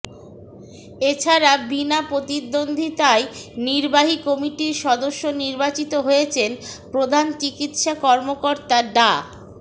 এ ছাড়া বিনা প্রতিদ্বন্দ্বিতায় নির্বাহী কমিটির সদস্য নির্বাচিত হয়েছেন প্রধান চিকিৎসা কর্মকর্তা ডা